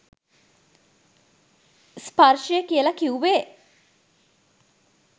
ස්පර්ශය කියලා කිව්වේ